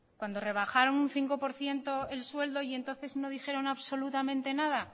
cuando rebajaron un cinco por ciento el sueldo y entonces no dijeron absolutamente nada